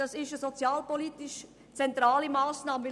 Das ist eine sozialpolitisch zentrale Massnahme.